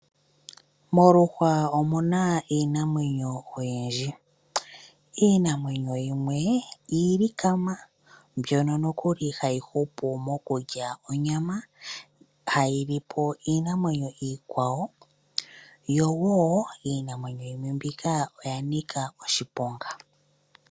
Moluhwa omu na iinamwenyo oyindji. Iinamwenyo yimwe iilikama mbyono nokuli hayi hupu mokulya onyama hayi li po iinamwenyo iikwawo, yo wo iinamwenyo yimwe mbika oya nika oshiponga.